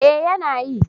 Eh yana yi.